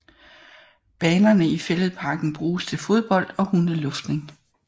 Banerne i Fælledparken bruges til fodbold og hundeluftning